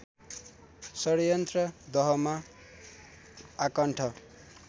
षड़्यन्त्र दहमा आकण्ठ